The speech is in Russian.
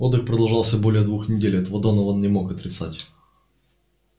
отдых продолжался больше двух недель этого донован не мог отрицать